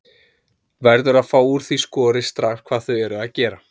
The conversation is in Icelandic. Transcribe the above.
Verður að fá úr því skorið strax hvað þau eru að gera.